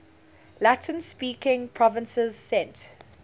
latin speaking provinces sent